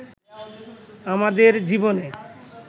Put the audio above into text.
আমাদের জীবনে